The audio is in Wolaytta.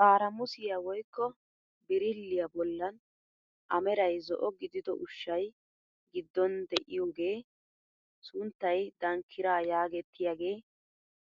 Xaramusiyaa woykko birilliyaa bollan a meray zo'o gidido ushshay giddon de'iyoogee sunttay dankkiraa yaagettiyaagee